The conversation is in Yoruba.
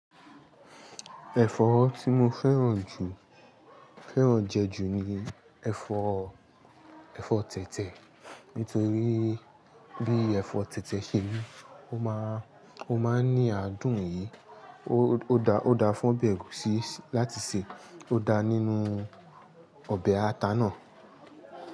Ẹ̀fọ́ tí mo fẹ́ràn jù, fẹ́ràn jẹ ju ni ẹ̀fọ́, ẹ̀fọ́ tẹ̀tẹ̀. Nítorí bí ẹ̀fọ́ tẹ̀tẹ̀ ṣe rí, ó máa, ó máa ń ní adùn yìí, ó da, ó da fún ọbẹ̀ ẹ̀gúsí láti sè, ó da nínú ọbẹ̀ ata náà.